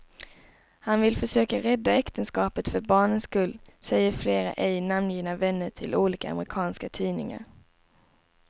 Han vill försöka rädda äktenskapet för barnens skull, säger flera ej namngivna vänner till olika amerikanska tidningar.